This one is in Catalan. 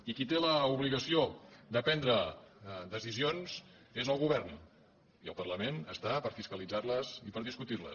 i qui té l’obligació de prendre decisions és el govern i el parlament hi és per fiscalitzar les i per discutir les